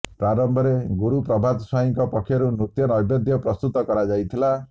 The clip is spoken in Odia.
ପ୍ରାରମ୍ଭରେ ଗୁରୁ ପ୍ରଭାତ ସ୍ବାଇଁଙ୍କ ପକ୍ଷରୁ ନୃତ୍ୟ ନ୘ବେଦ୍ୟ ପ୍ରସ୍ତୁତ କରାଯାଇଥିଲା